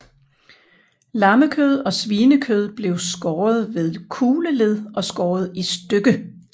Lammekød og svinekød blev skåret ved kugleled og skåret i stykke